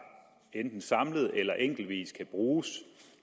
enten samlet eller enkeltvis kan bruges